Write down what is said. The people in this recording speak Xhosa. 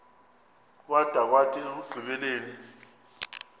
kwada kwathi ekugqibeleni